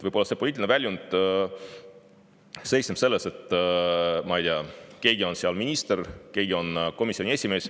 Võib-olla see poliitiline väljund seisneb selles, ma ei tea, et keegi on minister, keegi on komisjoni esimees.